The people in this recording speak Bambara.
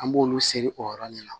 An b'olu seri o yɔrɔ de la